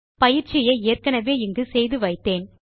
பயிற்சியை ஏற்கெனெவே இங்கு செய்து வைத்தேன்